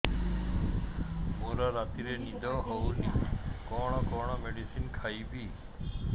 ମୋର ରାତିରେ ନିଦ ହଉନି କଣ କଣ ମେଡିସିନ ଖାଇବି